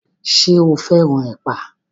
Ṣo fẹ́ràn ẹ̀pà?